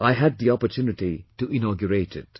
I had the opportunity to inaugurate it